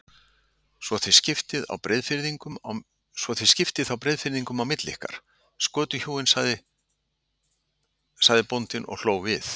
Svo þið skiptið þá Breiðafirðinum á milli ykkar, skötuhjúin, sagði bóndi og hló við.